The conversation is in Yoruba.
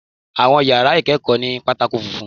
Àwọn yàrá ìkẹ́kọ̀ọ́ ní pátákó funfun.